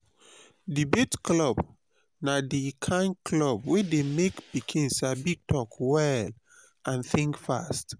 debate club na di kain club wey dey make pikin sabi talk well and think fast.